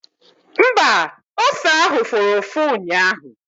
Mba, ose ahụ fụrụ ụfụ ụnyaahụ